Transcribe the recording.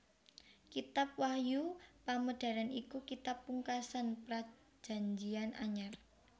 Kitab Wahyu Pamedaran iku kitab pungkasan Prajanjian Anyar